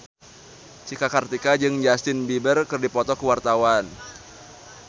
Cika Kartika jeung Justin Beiber keur dipoto ku wartawan